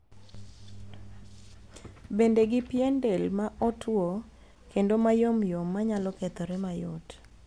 Bende gi pien del ma otuo kendo ma yomyom manyalo kethore mayot.